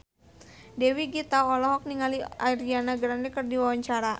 Dewi Gita olohok ningali Ariana Grande keur diwawancara